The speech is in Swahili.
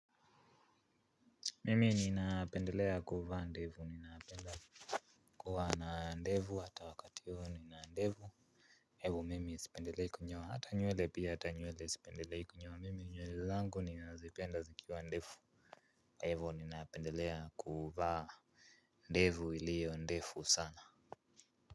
Mimi ninaapendelea kuvaa ndevu ninaapendelea kuwa na ndevu hata wakatiyo nina ndevu hivo mimi sipendelei kunyoa hata nywele pia ata nywele sipendelei kunyoa mimi nywele zangu ninaazipenda zikiwa ndefu kwahivo ninaapendelea kuvaa ndevu ilio ndefu sana.